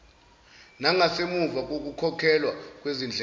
nangasemuva kokukhokhelwa kwezindleko